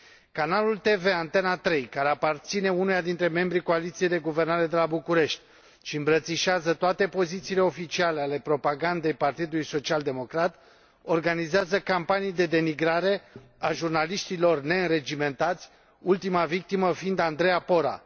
Canalul TV Antena 3, care aparține unuia dintre membrii coaliției de guvernare de la București și îmbrățișează toate pozițiile oficiale ale propagandei Partidului Social Democrat, organizează campanii de denigrare a jurnaliștilor neînregimentați, ultima victimă fiind Andreea Pora.